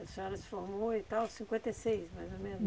A senhora se formou então em cinquenta e seis, mais ou menos?